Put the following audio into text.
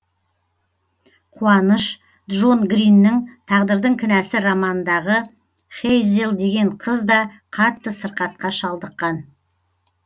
қуаныш джон гриннің тағдырдың кінәсі романындағы хэйзел деген қыз да қатты сырқатқа шалдыққан